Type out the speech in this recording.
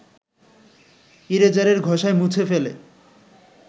ইরেজারের ঘষায় মুছে ফেলে